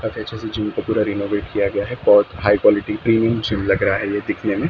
काफी अच्छे से जिम का पूरा रिनोवेट किया गया है बहुत हाइ क्वालिटी प्रीमियम जिम लग रहा है देखने में ।